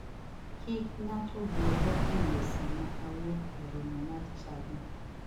Kik ng'ato bwoga e yoo sama awuok e romo mar chadi.